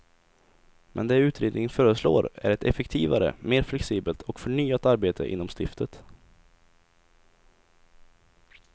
Men det utredningen föreslår är ett effektivare, mer flexibelt och förnyat arbete inom stiftet.